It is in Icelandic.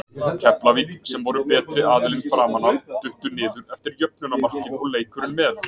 Keflavík, sem voru betri aðilinn framan af, duttu niður eftir jöfnunarmarkið og leikurinn með.